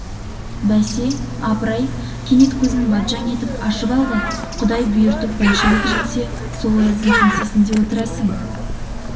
бәсе апыр-ай кенет көзін батжаң еткізіп ашып алды құдай бұйыртып большевик жеңсе сол ояздың кеңсесінде отырасың